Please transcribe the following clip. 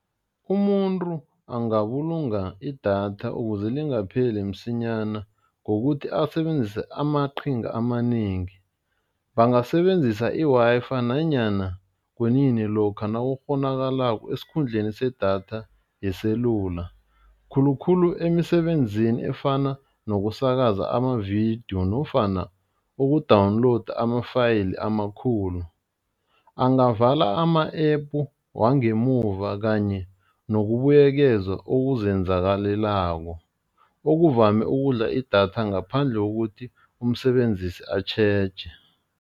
Umuntu angabulunga idatha ukuze lingapheli msinyana ngokuthi asebenzise amaqhinga amanengi, bangasebenzisa i-Wi-Fi nanyana kunini lokha nakukghonakalako esikhundleni sedatha yeselula, khulukhulu emisebenzini efana nokusakaza amavidiyo nofana uku-download ama-file amakhulu. Angavala ama-app wangemuva kanye nokubuyekezwa okuzenzakalelako okuvame ukudla idatha ngaphandle kokuthi umsebenzise atjheje.